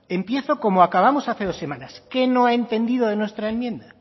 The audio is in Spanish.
empiezo como acabamos hace dos semanas qué no ha entendido de nuestra enmienda